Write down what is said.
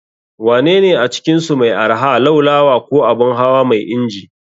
Wanene a cikinsu mai arha, Laulawa ko Abun hawa mai inji?